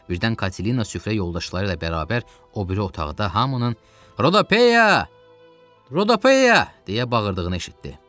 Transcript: Birdən Katina süfrə yoldaşları ilə bərabər o biri otağı da hamının Rodopeya, Rodopeya! deyə bağırdığını eşitdi.